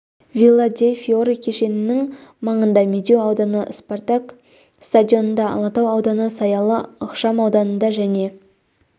вилла дей фиори кешенінің маңында медеу ауданы спартак стадионында алатау ауданы саялы ықшам ауданында және